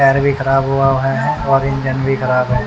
पैर भी खराब हुआ है और इंजन भी खराब है।